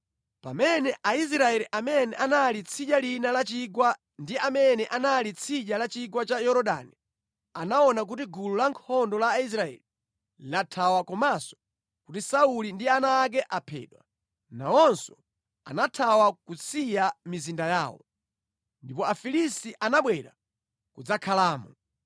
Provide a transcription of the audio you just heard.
Pamene Aisraeli amene anali tsidya lina la chigwa ndi amene anali tsidya la chigwa cha Yorodani anaona kuti gulu la ankhondo la Aisraeli lathawa komanso kuti Sauli ndi ana ake aphedwa, nawonso anathawa kusiya mizinda yawo. Ndipo Afilisti anabwera kudzakhalamo.